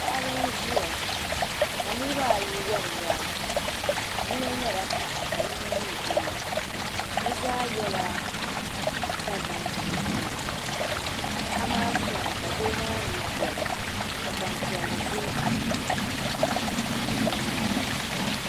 Paɣib n ziya kanirib ayi wari waa yinɔ nyala paɣa kayinɔ nyɛ doo bizaa yela Dagban chinchina paɣimaa somi ka doo maa mi gobi ka gban piɛli be bi nyaaŋa